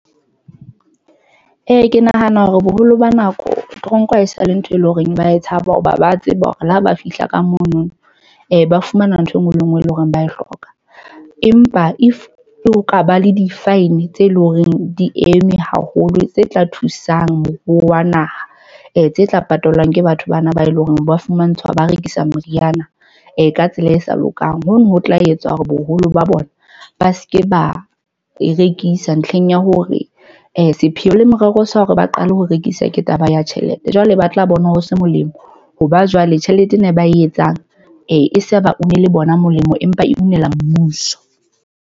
Ee, ke nahana hore boholo ba nako toronko ha esale ntho eleng hore ba tshaba hoba ba tseba hore le ha ba fihla ka mono, ba fumana ntho enngwe le enngwe, e leng hore ba e hloka. Empa if ho ka ba le di-fine tse leng horeng di eme haholo tse tla thusang moruo wa naha e tse tla patalwang ke batho bana ba eleng hore ba fumantshwa, ba rekisa meriana e ka tsela e sa lokang. Hono ho tla etsa hore boholo ba bona ba se ke ba e rekisa ntlheng ya hore sepheo le morero sa hore ba qale ho rekisa. Ke taba ya tjhelete, jwale ba tla bona ho se molemo hoba jwale tjhelete ena ba e etsang e sa bone le bona molemo, empa unela mmuso.